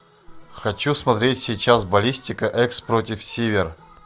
хочу смотреть сейчас баллистика экс против сивер